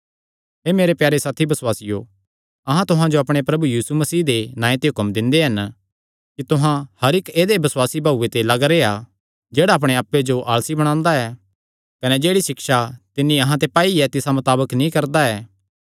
हे मेरे प्यारे साथी बसुआसियो अहां तुहां जो अपणे प्रभु यीशु मसीह दे नांऐ ते हुक्म दिंदे हन कि तुहां हर इक्क ऐदेय बसुआसी भाऊये ते लग्ग रेह्आ जेह्ड़ा अपणे आप्पे जो आलसी बणांदा ऐ कने जेह्ड़ी सिक्षा तिन्नी अहां ते पाई तिसा मताबक नीं करदा ऐ